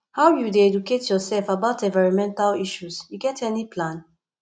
how you dey educate yourself about environmental issues you get any plan